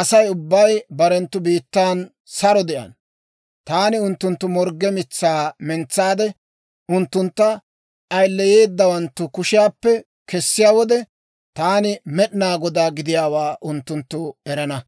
Asay ubbay barenttu biittan saro de'ana. Taani unttunttu morgge mitsaa mentsaade, unttuntta ayileyeedawanttu kushiyaappe kessiyaa wode, taani Med'inaa Godaa gidiyaawaa unttunttu erana.